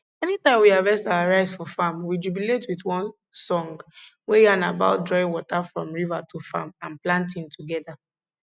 anytime we harvest our rice for farm we jubilate with one song wey yarn about drawing water from river to farm and planting together